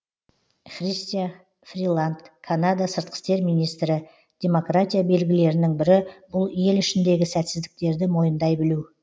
христя фриланд канада сыртқы істер министрі демократия белгілерінің бірі бұл ел ішіндегі сәтсіздіктерді мойындай білу